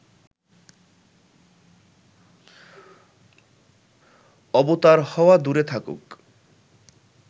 অবতার হওয়া দূরে থাকুক